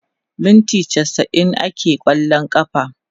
minti chasa'in akeyi a kwallon kafa